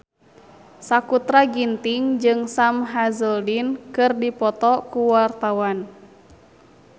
Sakutra Ginting jeung Sam Hazeldine keur dipoto ku wartawan